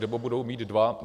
Nebo budou mít dva?